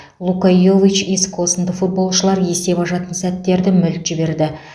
лука йович иско сынды футболшылар есеп ашатын сәттерді мүлт жіберді